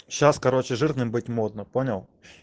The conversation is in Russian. сейчас короче жирным быть модно понял